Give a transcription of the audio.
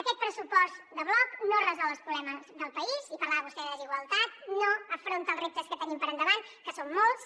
aquest pressupost de bloc no resol els problemes del país i parlava vostè de desigualtat no afronta els reptes que tenim per endavant que són molts